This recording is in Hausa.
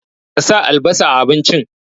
Ka sa albasa a abincin!